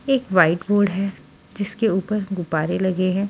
एक white board है जिसके ऊपर गुब्बारे लगे हैं।